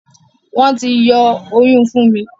Wón tí yó Oyún Funmi